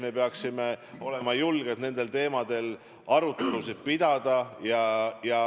Me peaksime olema julged nendel teemadel arutelusid pidama.